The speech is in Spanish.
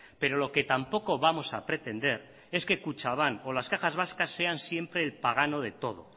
pero lo que tampoco vamos a pretender es que kutxabank o las cajas vascas sean siempre el pagano de todo